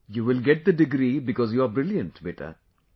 You will get the degree because you are brilliant, beta;